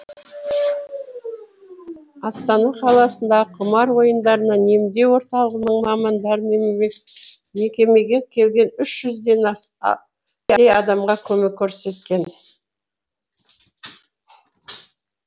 астана қаласындағы құмар ойындарынан емдеу орталығының мамандары мекемеге келген үш жүзден адамға көмек көрсеткен